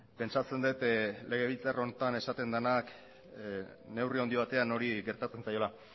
pentsatzen dut legebiltzar honetan esaten dena neurri handi batean hori gertatzen zaiola